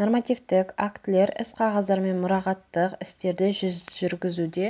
нормативтік актілер іс-қағаздар мен мұрағаттық істерді жүргізуде